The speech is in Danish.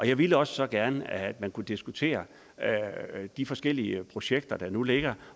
jeg ville også gerne at man kunne diskutere de forskellige projekter der nu ligger